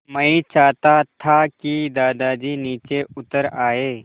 मैं चाहता था कि दादाजी नीचे उतर आएँ